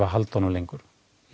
að halda honum lengur